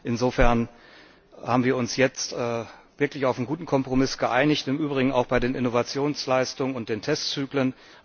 Insofern haben wir uns jetzt wirklich auf einen guten Kompromiss geeinigt, im Übrigen auch bei den Innovationsleistungen und den Testzyklen.